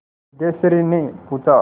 सिद्धेश्वरीने पूछा